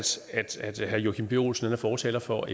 herre joachim b olsen er fortaler for